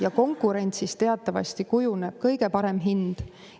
Ja konkurentsis teatavasti kujuneb kõige parem hind.